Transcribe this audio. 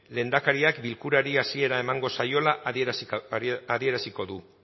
lehendakariak bilkurari hasiera eman zaiola adieraziko du